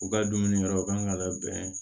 U ka dumuni yɔrɔw kan ka labɛn